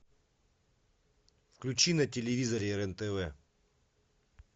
включи на телевизоре рен тв